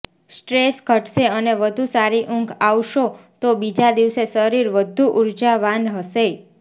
stress ઘટશે અને વધુ સારી ઊંઘ આવશો તો બીજા દિવસે શરીર વધુ ઉર્જાવાન હશે